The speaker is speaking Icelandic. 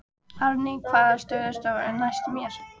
Árný, hvaða stoppistöð er næst mér?